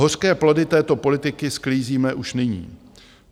Hořké plody této politiky sklízíme už nyní.